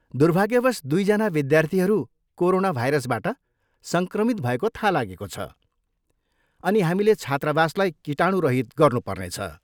दुर्भाग्यवश, दुईजना विद्यार्थीहरू कोरोना भाइरसबाट सङ्क्रमित भएको थाहा लागेको छ, अनि हामीले छात्रावासलाई कीटाणुरहित गर्नुपर्नेछ।